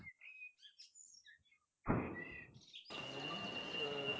ਮੈਨੂੰ ਅਹ